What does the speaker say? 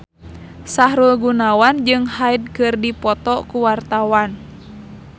Sahrul Gunawan jeung Hyde keur dipoto ku wartawan